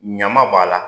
Ɲama b'a la